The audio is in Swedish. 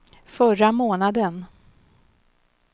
förra månaden